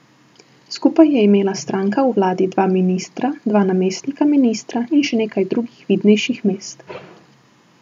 Skupaj je imela stranka v vladi dva ministra, dva namestnika ministra in še nekaj drugih vidnejših mest.